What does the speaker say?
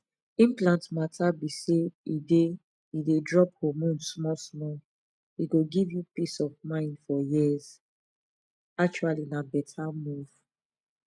implant matter be say e dey e dey drop hormone smallsmall e go give you peace of mind for years pause actually na better move